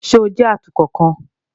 Ṣe o jẹ atukọ kan?